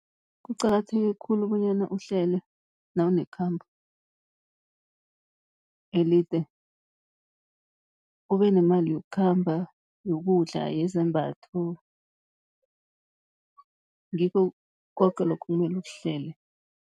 Kuqakatheke khulu bonyana uhlele nawunekhambo elide, kube nemali yokukhamba, yokudla, yezembatho. Ngikho koke lokho okumele ukuhlele.